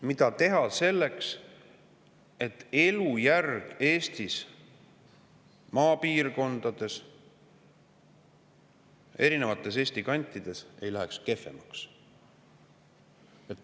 Mida teha selleks, et elujärg Eesti maapiirkondades, erinevates Eesti kantides ei läheks kehvemaks?